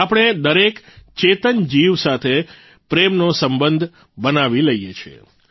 આપણે દરેક ચેતન જીવ સાથે પ્રેમનો સંબંધ બનાવી લઇએ છીએ